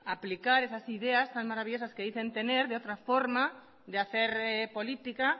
aplicar esas ideas tan maravillosas que dicen tener de otra forma de hacer política